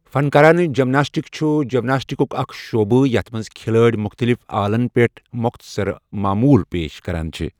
فَنکارانہٕ gymnastic چُھ جِمناسٹِکُک اَکھ شعبہٕ یتھ مَنٛز کِھلٲڑۍ مُختٕلِف آلن پٮ۪ٹھ موختصر معموٗل پیش کَران چھ۔